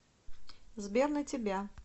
сбер на тебя